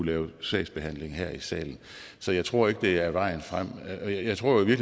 lave sagsbehandling her i salen så jeg tror ikke det er vejen frem jeg tror i